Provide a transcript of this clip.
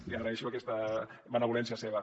li agraeixo aquesta benevolència seva